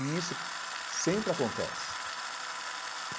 E isso sempre acontece.